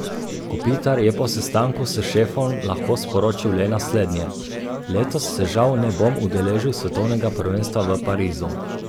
Kopitar je po sestanku s šefom lahko sporočil le naslednje: 'Letos se žal ne bom udeležil svetovnega prvenstva v Parizu.